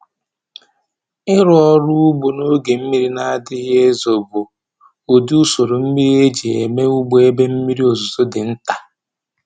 Ịrụ ọrụ ugbo n’oge mmiri na-adịghị ezo bụ ụdị usoro mmiri eji eme ugbo ebe mmiri ozuzo dị nta.